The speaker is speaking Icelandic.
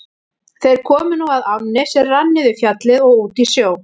Þeir komu nú að ánni sem rann niður Fjallið og út í sjó.